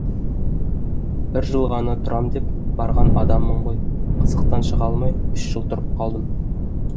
бір жыл ғана тұрам деп барған адаммын ғой қызықтан шыға алмай үш жыл тұрып қалдым